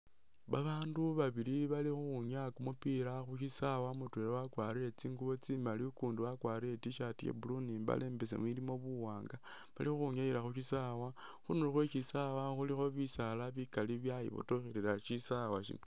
Babaandu babili bali khukhwinyaa kumupila bali khu syisawe mutwela wakwarire I'T-shirt ya blue ni i'mbale imbesemu ilimo buwanga, bali ukhwinyayila khu syisawe, khunulo khwe syisawe ilikho bisaala bikali byayibotokhelela syisawa sino.